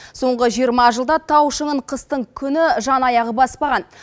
соңғы жиырма жылда тау шыңын қыстың күні жан аяғы баспаған